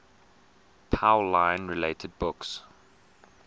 pauline related books